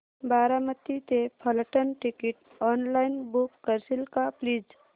बारामती ते Phaltan ticket online book करशील का प्लीज